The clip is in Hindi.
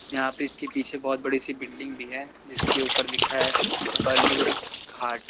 यहां पे इसके पीछे बहुत बड़ी सी बिल्डिंग भी है जिसके ऊपर लिखा है बालूर घाट ।